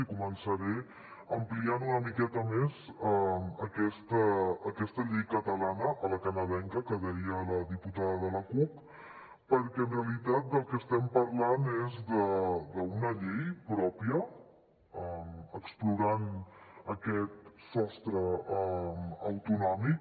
i començaré ampliant una miqueta més aquesta llei catalana a la canadenca que deia la diputada de la cup perquè en realitat del que estem parlant és d’una llei pròpia explorant aquest sostre autonòmic